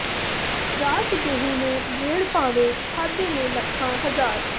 ਰਾਤ ਦੇਹੁੰ ਨੇ ਗੇੜ ਭਾਵੇਂ ਖਾਧੇ ਨੇ ਲੱਖਾਂ ਹਜ਼ਾਰ